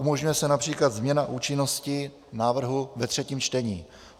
Umožňuje se například změna účinnosti návrhu ve třetím čtení.